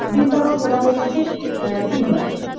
বৃন্দাবন ঘোরা হয়ে গেছে আ তিনবার